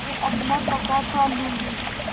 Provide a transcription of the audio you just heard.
मैं अपना पकाखा लूँगी